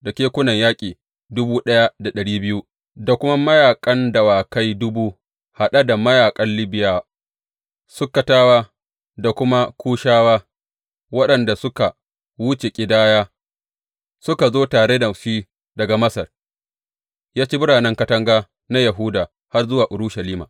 Da kekunan yaƙi dubu ɗaya da ɗari biyu da kuma mahayan dawakai dubu haɗe da mayaƙan Libiyawa, Sukkatawa da kuma Kushawa waɗanda suka wuce ƙidaya suka zo tare da shi daga Masar, ya ci biranen katanga na Yahuda har zuwa Urushalima.